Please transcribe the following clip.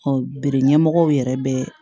bere ɲɛmɔgɔw yɛrɛ bɛ